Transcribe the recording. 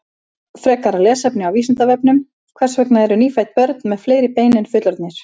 Frekara lesefni á Vísindavefnum: Hvers vegna eru nýfædd börn með fleiri bein en fullorðnir?